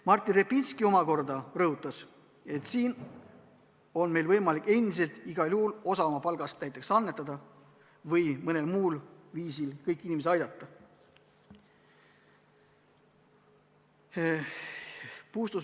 Martin Repinski rõhutas, et meil on endiselt võimalik igal juhul osa oma palgast annetada või mõnel muul viisil inimesi aidata.